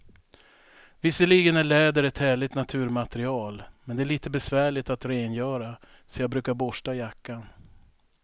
Visserligen är läder ett härligt naturmaterial, men det är lite besvärligt att rengöra, så jag brukar borsta jackan.